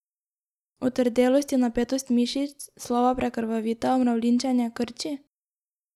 Otrdelost in napetost mišic, slaba prekrvavitev, mravljinčenje, krči?